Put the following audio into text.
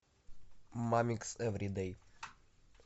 мамикс эвридэй